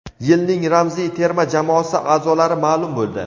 Yilning ramziy terma jamoasi aʼzolari maʼlum bo‘ldi.